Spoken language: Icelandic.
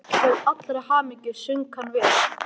Til allrar hamingju söng hann vel!